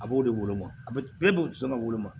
A b'o de woloma a bɛ don so kɔnɔ